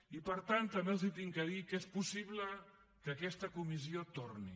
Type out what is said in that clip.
i per tant també els he de dir que és possible que aquesta comissió torni